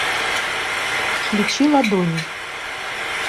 включи ладони